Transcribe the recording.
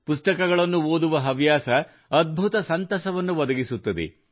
ಪುಸ್ತಕಗಳನ್ನು ಓದುವ ಹವ್ಯಾಸ ಅದ್ಭುತ ಸಂತಸವನ್ನು ಒದಗಿಸುತ್ತದೆ